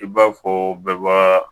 I b'a fɔ bɛɛ baga